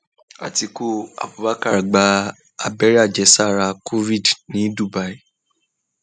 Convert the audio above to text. àtiku abubakar gba abẹrẹ àjẹsára covid ní dubai